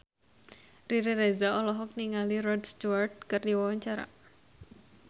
Riri Reza olohok ningali Rod Stewart keur diwawancara